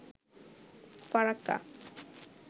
Farakka